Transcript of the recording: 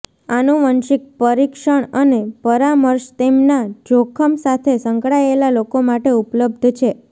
આનુવંશિક પરીક્ષણ અને પરામર્શ તેમના જોખમ સાથે સંકળાયેલા લોકો માટે ઉપલબ્ધ છે